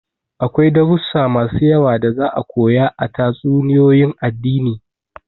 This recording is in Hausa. Akwai darussa masu yawa da za'a koya a tatsuniyoyin addini.